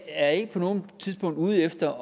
jeg er ikke på noget tidspunkt ude efter